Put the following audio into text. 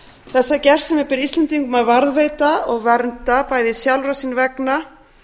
þessa gersemi ber íslendingum að varðveita og vernda bæði sjálfra sín vegna